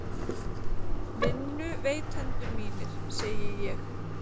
Vinnuveitendur mínir, segi ég.